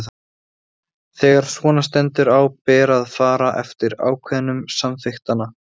Þegar svona stendur á ber að fara eftir ákvæðum samþykktanna.